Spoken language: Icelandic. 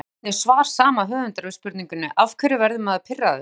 Skoðið einnig svar sama höfundar við spurningunni Af hverju verður maður pirraður?